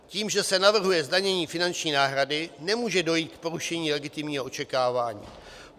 Tím, že se navrhuje zdanění finanční náhrady, nemůže dojít k porušení legitimního očekávání.